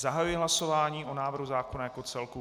Zahajuji hlasování o návrhu zákona jako celku.